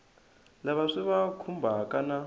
lava swi va khumbhaka na